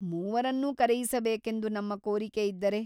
ಮೂವರನ್ನೂ ಕರೆಯಿಸಬೇಕೆಂದು ನಮ್ಮ ಕೋರಿಕೆಯಿದ್ದರೆ ?